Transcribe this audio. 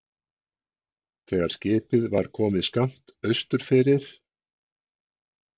Þegar skipið var komið skammt austur fyrir